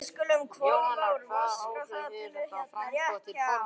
Jóhanna: Hvaða áhrif hefur þetta á framboð til formanns?